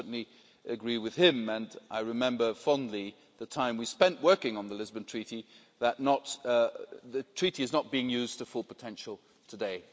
I certainly agree with him and I remember fondly the time we spent working on the Lisbon Treaty that the Treaty is not being used to its full potential today.